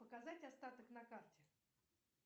показать остаток на карте